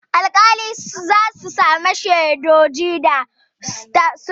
Alƙalai za su saurari hujjoji da shaidu kafin su zartar da hukunci.